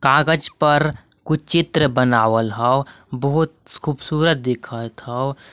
कागज पर कुछ चित्र बनावल हौ बहुत खूबसूरत दिखत हौ।